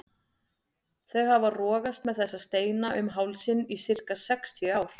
Þau hafa rogast með þessa steina um hálsinn í sirka sextíu ár.